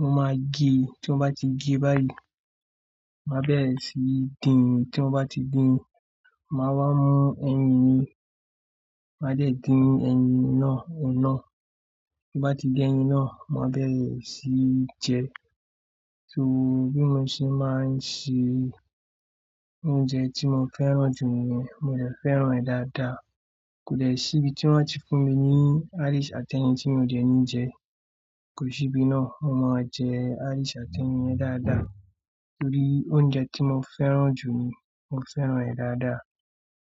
mo máa gé e, tí mo bá ti gé e báyìí, màá bẹ̀rẹ̀ sí dín, tí mo bá ti dín, màá wá mú ẹyin mi, màá dẹ̀ din ẹyin náà ohun ná. Tin bá ti din ẹyin náà, màá bẹ̀rẹ̀ sí jẹ ẹ́. So bí wọ́n ṣe máa ń ṣe oúnjẹ tí mo fẹ́ràn jù niyen, mo de fẹ́ràn ẹ̀ dáadáa. Kò lè sí ibi tí wọ́n a ti fún mi ní isu àti ẹyin tí mi ò dé ní jẹ ẹ́, kò sí ibi náà. Mo máa jẹ Irish àti ẹyin yẹn dáadáa torí oúnjẹ tí mo fẹ́ràn jù ni, mo fẹ́ràn rẹ̀ dáadáa.